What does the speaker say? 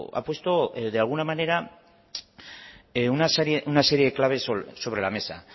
ha puesto de alguna manera una serie de claves sobre la mesa